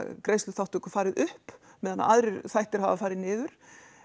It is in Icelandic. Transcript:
greiðsluþáttöku farið upp meðan aðrir þættir hafa farið niður